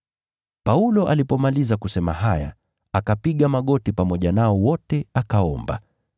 Paulo alipomaliza kusema haya akapiga magoti pamoja nao wote akaomba.